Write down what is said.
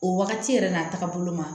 O wagati yɛrɛ n'a tagabolo ma